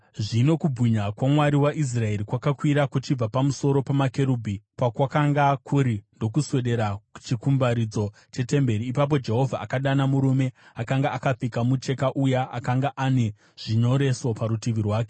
Zvino kubwinya kwaMwari waIsraeri kwakakwira kuchibva pamusoro pamakerubhi, pakwakanga kuri, ndokuswedera kuchikumbaridzo chetemberi. Ipapo Jehovha akadana murume akanga akapfeka mucheka uya akanga ane zvinyoreso parutivi rwake